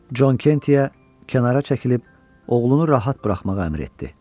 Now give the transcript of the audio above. Con Kentiyə kənara çəkilib oğlunu rahat buraxmağa əmr etdi.